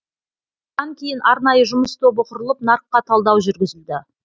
бұдан кейін арнайы жұмыс тобы құрылып нарыққа талдау жүргізілді